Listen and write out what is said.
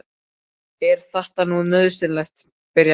Er þetta nú nauðsynlegt, byrjaði mamma.